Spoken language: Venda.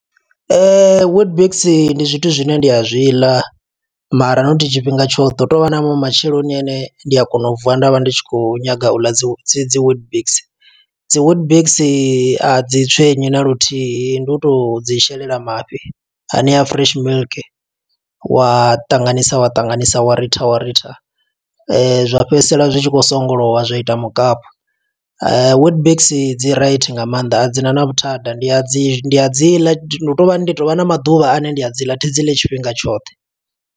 Witbix ndi zwithu zwine ndi a zwi ḽa, mara not tshifhinga tshoṱhe. Hu tovha na maṅwe matsheloni ane ndi a kona u vuwa nda vha ndi tshi khou nyaga u ḽa dzi whit dzi dzi dzi witbix. Dzi whitbix a dzi tswenyi naluthihi, ndi u to dzi shelela mafhi hanea a fresh milk, wa tanganisa wa ṱanganisa wa rita wa rita. Zwa fhedzisela zwi tshi khou songolowa zwaita mukapu. Witbix dzi right nga maanḓa, a dzina na vhuthada. Ndi a dzi, ndi a dzi ḽa hu tou vhani ndi tovha na maḓuvha ane ndi a dzi ḽa, thi dzi ḽi tshifhinga tshoṱhe.